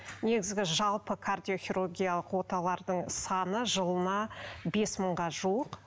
негізгі жалпы кардиохирургиялық оталардың саны жылына бес мыңға жуық